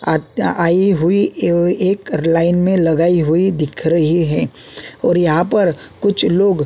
आत्या आई हुई एव एक लाइन में लगाई हुई दिख रही है और यहां पर कुछ लोग --